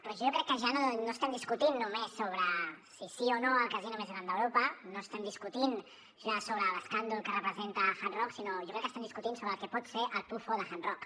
però jo crec que ja no estem discutint només sobre si sí o no al casino més gran d’europa no estem discutint ja sobre l’escàndol que representa hard rock sinó que jo crec que estem discutint sobre el que pot ser el pufo de hard rock